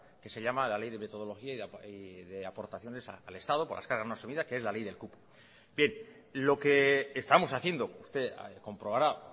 que se llama la ley de metodología y de aportaciones al estado por la escala no asumida que es la ley del cupo bien lo que estamos haciendo usted comprobará